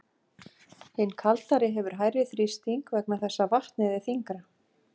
Hin kaldari hefur hærri þrýsting vegna þess að vatnið er þyngra.